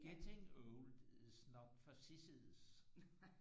Getting old is not for sissies